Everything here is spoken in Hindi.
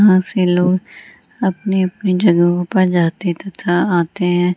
यहाँ पे लोग अपने-अपने जगह पर जाते है तथा आते है।